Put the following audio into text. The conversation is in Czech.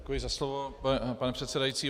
Děkuji za slovo, pane předsedající.